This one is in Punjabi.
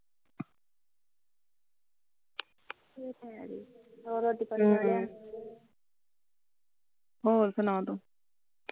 ਹੋਰ ਸਣਾ ਤੂੰ